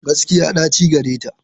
Gaskiya, ɗaci gareta.